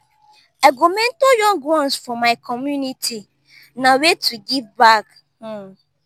i go mentor young ones for my community; na way to give back um.